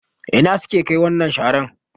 Ina suke Kai wannan sharar?